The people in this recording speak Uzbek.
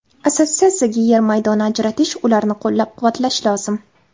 Assotsiatsiyaga yer maydoni ajratish, ularni qo‘llab-quvvatlash lozim.